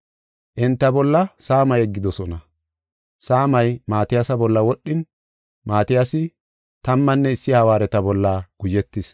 Enta bolla saama yeggidosona. Saamay Maatiyasa bolla wodhin, Maatiyasi tammanne issi hawaareta bolla guzhetis.